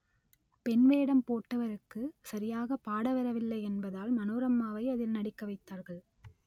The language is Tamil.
பெண் வேடம் போட்டவருக்கு சரியாக பாடவரவில்லை என்பதால் மனோரம்மாவை அதில் நடிக்க வைத்தார்கள்